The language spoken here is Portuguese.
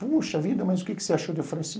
Puxa vida, mas o que você achou de oferecer?